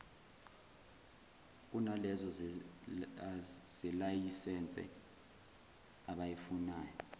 kunalezo zelayisense abayifunayo